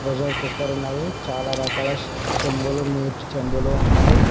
Pressure cooker ఉన్నది చాలా రకాల చెంబులు నీటి చెంబులు ఉన్నాయి.